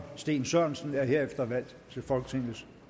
steen sørensen er herefter valgt til folketingets